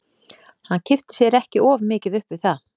Hann kippti sér ekki of mikið upp við það.